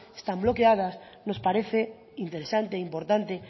están bloqueadas nos parece interesante importante